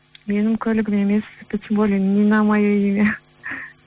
менің көлігім емес это тем более не мое имя